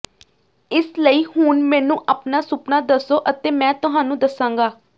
ਇਸ ਲਈ ਹੁਣ ਮੈਨੂੰ ਆਪਣਾ ਸੁਪਨਾ ਦੱਸੋ ਅਤੇ ਮੈਂ ਤੁਹਾਨੂੰ ਦੱਸਾਂਗਾ